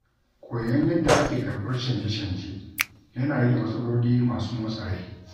Koyon yadda ake karɓar canje-canje yana rage matsaloli masu motsa rai.